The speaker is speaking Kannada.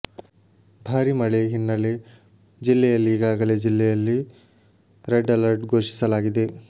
ಭಾರೀ ಮಳೆ ಹಿನ್ನೆಲೆ ಜಿಲ್ಲೆಯಲ್ಲಿ ಈಗಾಗಲೇ ಜಿಲ್ಲೆಯಲ್ಲಿ ರೆಡ್ ಅಲರ್ಟ್ ಘೋಷಿಸಲಾಗಿದೆ